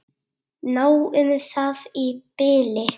Nóg um það í bili.